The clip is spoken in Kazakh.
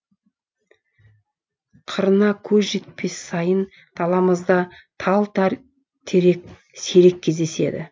қырына көз жетпес сайын даламызда тал терек сирек кездеседі